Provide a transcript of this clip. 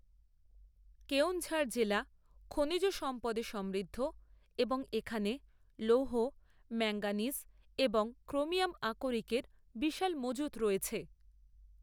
কেওনঝাড় জেলা খনিজ সম্পদে সমৃদ্ধ এবং এখানে লৌহ, ম্যাঙ্গানিজ এবং ক্রোমিয়াম আকরিকের বিশাল মজুত রয়েছে।